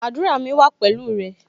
Àdúrà mi wa pẹ̀lú rẹ